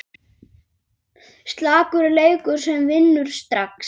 Slakur leikur sem vinnur strax!